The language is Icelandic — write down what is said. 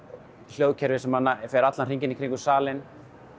hljóðkerfi sem fer allan hringinn kringum salinn